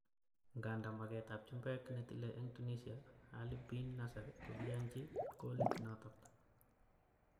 Nganda maket ab chumbek, netile eng Tunisia Ali Bin Nasser kokiyanji golit noto.